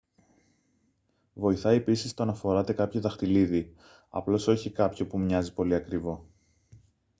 βοηθάει επίσης το να φοράτε κάποιο δαχτυλίδι απλώς όχι κάποιο που μοιάζει πολύ ακριβό